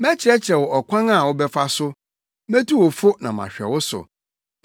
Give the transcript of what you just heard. Mɛkyerɛkyerɛ wo ɔkwan a wobɛfa so metu wo fo na mahwɛ wo so.